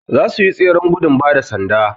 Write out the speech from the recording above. zasuyi tseren gudung bada sanda